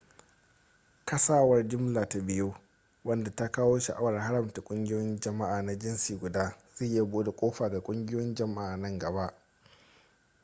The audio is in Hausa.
kasawar jimla ta biyun wadda ta kawo shawarar haramta ƙungiyoyin jama'a na jinsi guda zai iya bude kofa ga ƙungiyoyin jama'a nan gaba